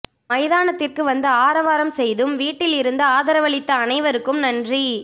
மைதானத்திற்கு வந்து ஆரவாரம் செய்தும் வீட்டில் இருந்தும் ஆதரவளித்த அனைவருக்கும் நன்றி